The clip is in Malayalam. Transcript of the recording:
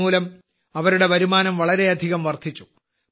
ഇതുമൂലം അവരുടെ വരുമാനം വളരെയധികം വർദ്ധിച്ചു